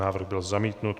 Návrh byl zamítnut.